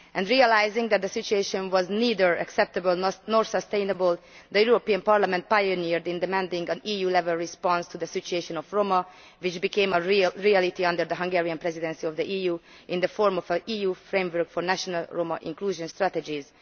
Realising that the situation was neither acceptable nor sustainable, the European Parliament was a pioneer in demanding an EU level response to the situation of Roma which then became a reality under the Hungarian Presidency of the EU in the form of an EU framework for national Roma inclusion strategies.